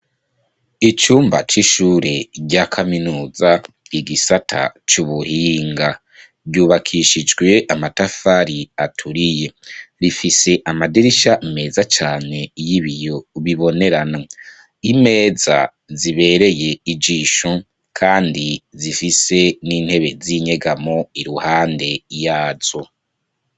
icumba c'ishure rya kaminuza igisata c'ubuhinga ryubakishijwe amatafari aturiye rifise amadirisha meza cane y'iiyo bibonerana imeza zibereye ijisho kandi zifise n'intebe z'inyegamo iruhande yazo.